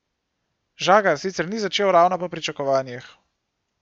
Žagar sicer ni začel ravno po pričakovanjih.